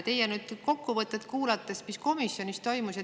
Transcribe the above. Kuulasin teie kokkuvõtet sellest, mis komisjonis toimus.